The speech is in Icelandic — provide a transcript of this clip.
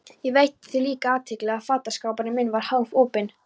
Ég veitti því líka athygli að fataskápurinn minn var hálfopinn.